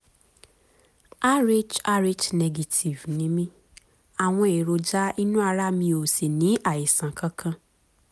rh rh negative ni mi, àwọn eròjà inu ara mi o si ni àìsàn kankan